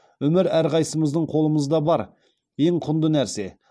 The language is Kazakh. өмір әрқайсымыздың қолымызда бар ең құнды нәрсе